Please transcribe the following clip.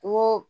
Kungo